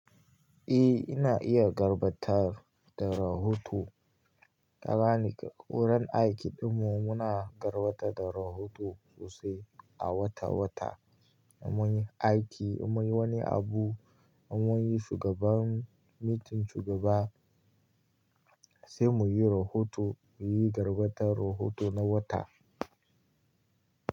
Eh ina iya garbatar da rahoto. Kagane, wurin aiki ɗinmu muna gabatar da rahoto sosai a wata wata. Munyi aiki, munyi wani abu, mun yi shugaban meeting shugaba sai muyi rahoto, muyi gabatar rohoto na wata.